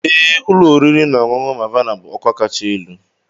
Ee, ụlọ oriri na ọṅụṅụ Mavana bụ ọkwa kacha elu.